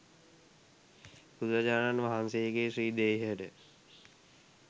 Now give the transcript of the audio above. බුදුරජාණන් වහන්සේගේ ශ්‍රී දේහයට